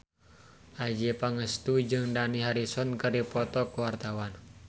Adjie Pangestu jeung Dani Harrison keur dipoto ku wartawan